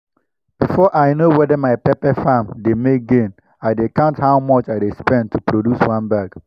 before i know whether my pepper farm dey make gain i dey count how much i dey spend to produce one bag.